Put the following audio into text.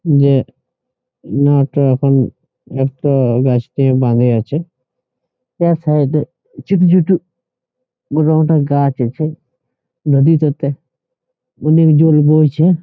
যে না একটা এখন একটা গাছতে বাঁধে আছে | তার সাইডে ছোট ছোট মোটা মোটা গাছ আছে | নদীটাতে অনেক জল বইছে |